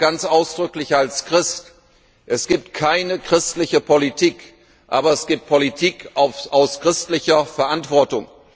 Ich sage ganz ausdrücklich als Christ Es gibt keine christliche Politik, aber es gibt Politik aus christlicher Verantwortung.